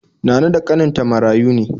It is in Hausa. Nana da ƙaninta marayu ne.